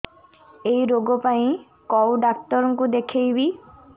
ଏଇ ରୋଗ ପାଇଁ କଉ ଡ଼ାକ୍ତର ଙ୍କୁ ଦେଖେଇବି